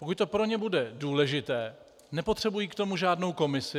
Pokud to pro ně bude důležité, nepotřebují k tomu žádnou komisi.